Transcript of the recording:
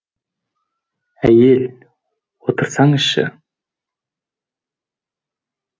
ә й е л отырсаңызшы